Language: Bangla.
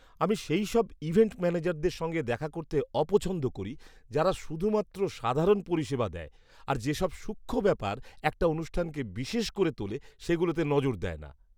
আমি সেইসব ইভেন্ট ম্যানেজারদের সঙ্গে দেখা করতে অপছন্দ করি যারা শুধুমাত্র সাধারণ পরিষেবা দেয় আর যে সব সূক্ষ্ম ব্যাপার একটা অনুষ্ঠানকে বিশেষ করে তোলে সেগুলোতে নজর দেয় না।